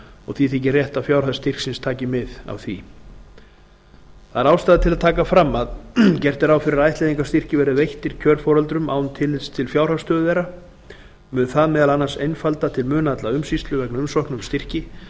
og því þykir rétt að fjárhæð styrksins taki mið að af því ástæða er til að taka fram að gert er ráð fyrir að ættleiðingarstyrkir verði veittir kjörforeldrum án tillits til fjárhagsstöðu þeirra mun það meðal annars einfalda til muna alla umsýslu vegna umsókna um styrki